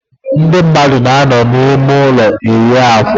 Ndị mmadụ na-anọ n'ime ụlọ eyi akwa.